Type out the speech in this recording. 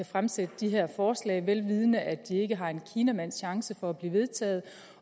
fremsætte det her forslag vel vidende at det ikke har en kinamands chance for at blive vedtaget